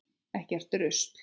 Ekkert rusl.